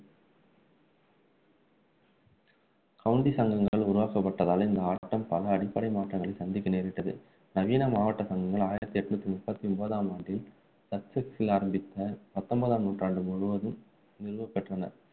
county சங்கங்கள் உருவாக்கப்பட்டதால் இந்த ஆட்டம் பல அடிப்படை மாற்றங்களை சந்திக்க நேரிட்டது நவீன மாவட்ட சங்கங்கள் ஆயிரத்து எண்ணூற்று முப்பத்து ஒன்பதாம் ஆண்டில் சச்செக்சில் ஆரம்பித்து பத்தொன்பதாம் நூற்றாண்டு முழுவதும் நிறுவப்பெற்றன